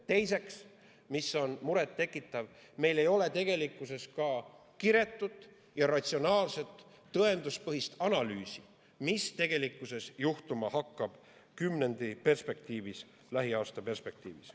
Teiseks on muret tekitav, et meil ei ole ka kiretut ja ratsionaalset tõenduspõhist analüüsi, mis tegelikkuses hakkab juhtuma kümnendi perspektiivis, lähiaasta perspektiivis.